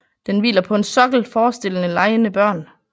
Den hviler på en sokkel forestillende legende børn